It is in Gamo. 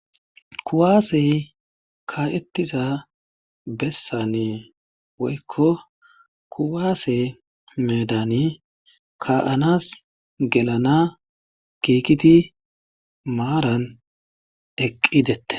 kuwaasey ka'ettiza bessane woykko kuwaase medani ka'anas gelana kiikiti maaran eqqidette